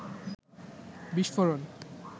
বিস্ফোরণ